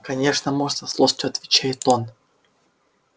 конечно можно со злостью отвечает он